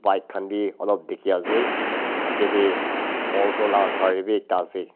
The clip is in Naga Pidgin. bike khan be alop dikhi ase aage teh aulto lah gari be ekta ase.